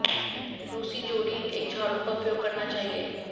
रूसी जोड़ी एक झाड़ू का उपयोग करना चाहिए